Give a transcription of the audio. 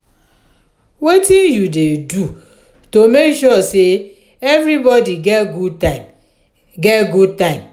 wetin you dey do to make sure say everybody get good time? get good time?